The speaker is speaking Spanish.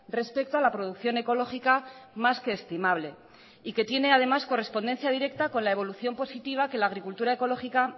respecto a la producción ecológica más que estimable y que tiene además correspondencia directa con la evolución positiva que la agricultura ecológica